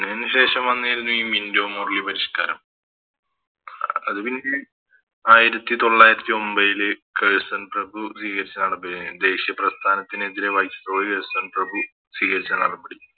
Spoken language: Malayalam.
അതിനു ശേഷം വന്നിരുന്നെ ഈ മിന്റോ മോർലി പരിഷ്‌ക്കാരം അത് പിന്നെ ആയിരത്തി തൊള്ളായിരത്തി ഒമ്പേല് കേഴ്സൺ പ്രഭു പികരിച്ചതാണ് ബേ ദേശിയ പ്രസ്ഥാനത്തിനെതിരെ Viceroy കേഴ്സൺ പ്രഭു സ്വീകരിച്ച നടപടി